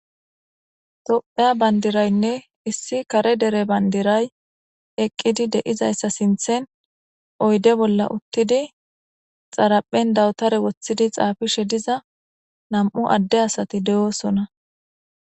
Tophiya bandirayne issi kare dere bandiraya eqidi de'izaysa sinthen oyde bolla uttidi xaraphen dabutera wothidi xapishe diza nam'u ade asati de'osona